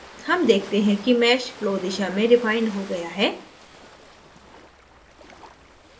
हम देखते हैं कि mesh flow दिशा में refined हो गया है